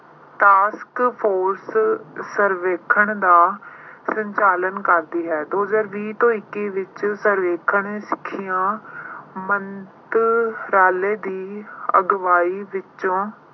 task force ਸਰਵੇਖਣ ਦਾ ਸੰਚਾਲਨ ਕਰਦੀ ਹੈ। ਦੋ ਹਜ਼ਾਰ ਵੀਹ ਤੋਂ ਇੱਕੀ ਵਿੱਚ ਸਰਵੇਖਣ ਮੰਤਰਾਲੇ ਦੀ ਅਗਵਾਈ ਵਿੱਚੋਂ